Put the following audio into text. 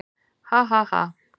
"""Ha, ha, ha!"""